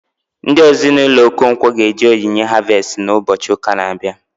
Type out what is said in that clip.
Ndị Ezinụlọ Okonkwo ga eje onyinye harvestị na ụbọchị ụka na abịa